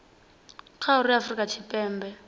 kha uri afurika tshipembe i